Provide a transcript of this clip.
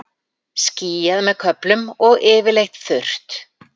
Skýjað með köflum og yfirleitt þurrt